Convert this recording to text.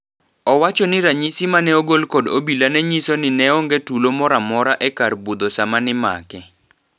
Owacho ni ranyisi mane ogol kod obila nenyiso ni neonge tulo moramora e kar budho sama nimake.